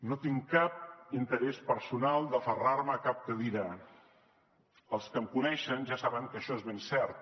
no tinc cap interès personal d’aferrar me a cap cadira els que em coneixen ja saben que això és ben cert